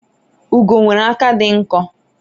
ugo nwere aka di nkọ